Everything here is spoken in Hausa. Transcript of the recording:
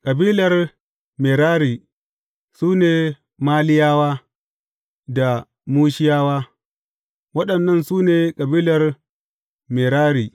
Kabilar Merari su ne Maliyawa da Mushiyawa; waɗannan su ne kabilar Merari.